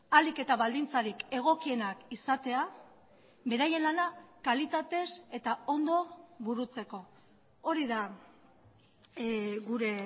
ahalik eta baldintzarik egokienak izatea beraien lana kalitatez eta ondo burutzeko hori da gure